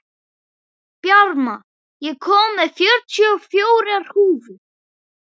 Bjarma, ég kom með fjörutíu og fjórar húfur!